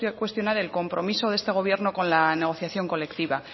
cuestionar el compromiso de este gobierno con la negociación colectiva